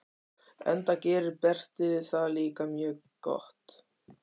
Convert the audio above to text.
Enda gerir Berti það líka mjög gott.